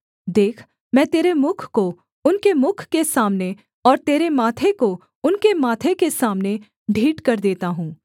देख मैं तेरे मुख को उनके मुख के सामने और तेरे माथे को उनके माथे के सामने ढीठ कर देता हूँ